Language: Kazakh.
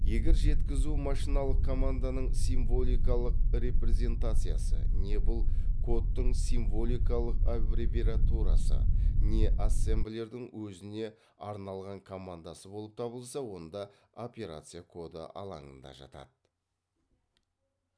егер жекізу машиналық команданың символикалық репрезентациясы не бұл кодтың символикалық аббревиатурасы не ассемблердің өзіне арналған командасы болып табылса онда операция коды алаңында жатады